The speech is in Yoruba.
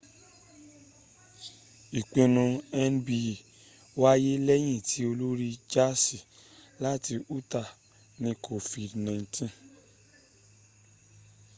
ìpinu nba wáyé lẹ́yìn tí olórin jaasi láti utah ní kofidi 19